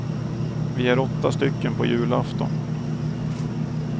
Vi är åtta stycken på julafton.